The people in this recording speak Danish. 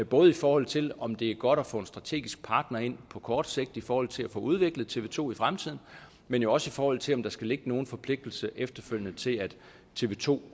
både i forhold til om det er godt at få en strategisk partner ind på kort sigt i forhold til at få udviklet tv to i fremtiden men også i forhold til om der skal ligge nogen forpligtelse efterfølgende til at tv to